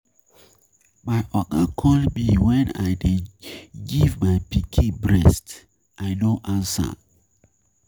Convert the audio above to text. My Oga call me when I dey give my pikin breast I know answer.